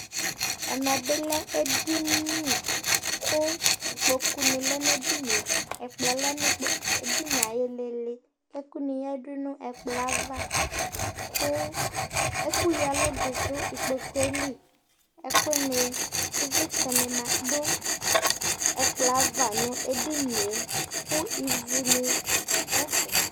ɛmɛ bi lɛ edini kò ikpoku ni lɛ no edinie ɛkplɔ lɛ n'edinie ayi ilili ɛkò ni yadu n'ɛkplɔɛ ava kò ɛkò ya ɛlu di do ikpokue li ɛkò ni ivlitsɛ ni ma do ɛkplɔ ava no edinie kò ivu ni do ɛfɛ